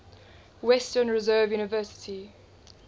western reserve university